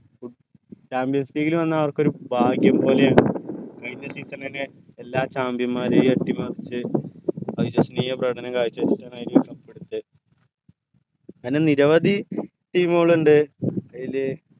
Champions league ൽ വന്ന ആൾക്കൊരു ഭാഗ്യം പോലെയാണ് കഴിഞ്ഞ season എന്നെ എല്ലാ champion മാരേയു അട്ടി മറിച് പ്രകടനം കാഴ്ച അങ്ങനെ നിരവധി team ഉകളുണ്ട് അയിൽ